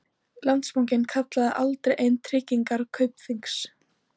Landsbankinn kallaði aldrei inn tryggingar Kaupþings